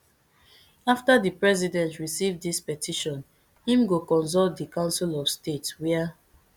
afta di president receive dis petition im go consult di council of state wia